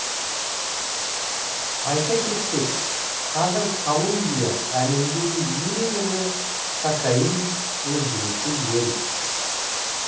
айта кетсек қазір колумбия әлемдегі ең ірі кокаин өндіруші ел